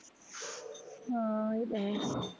ਹਾਂ ਏਹ ਤਾਂ ਹੈ